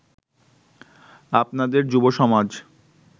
আপনাদের যুবসমাজ